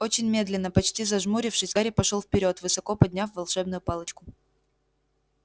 очень медленно почти зажмурившись гарри пошёл вперёд высоко подняв волшебную палочку